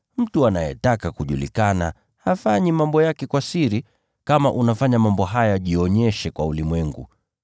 Mtu anayetaka kujulikana hafanyi mambo yake kwa siri. Kama unafanya mambo haya, jionyeshe kwa ulimwengu.”